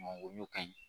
O y'o ka ɲi